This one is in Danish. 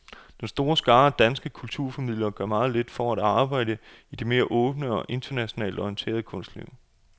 Den store skare af danske kunstformidlere gør meget lidt for at arbejde i det mere åbne og internationalt orienterede kunstliv.